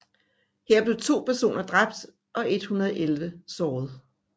Her blev to personer dræbt og 111 såret